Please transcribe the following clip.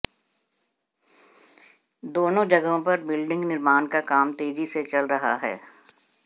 दोनों जगहों पर बिल्डिंग निर्माण का काम तेजी से चल रहा है